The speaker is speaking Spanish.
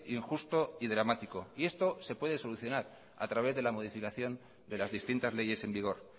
injusto y dramático y esto se puede solucionar a través de la modificación de las distintas leyes en vigor